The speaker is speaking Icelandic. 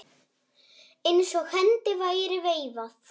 Eins og hendi væri veifað.